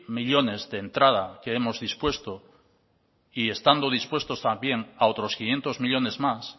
millónes de entrada que hemos dispuesto y estando dispuestos también a otros quinientos millónes más